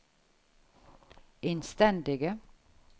innstendige